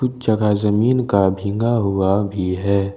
कुछ जगह जमीन का भीगा हुआ भी है।